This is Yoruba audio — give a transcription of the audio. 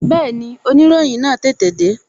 Bẹẹni, oniroyin náà tètè de